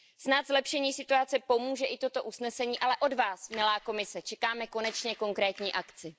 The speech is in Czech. Snad zlepšení situace pomůže i toto usnesení, ale od vás, milá Komise, čekáme konečně konkrétní akci.